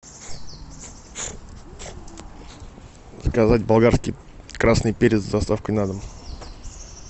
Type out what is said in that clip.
заказать болгарский красный перец с доставкой на дом